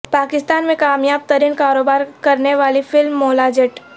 پاکستان میں کامیاب ترین کاروبار کرنے والی فلم مولاجٹ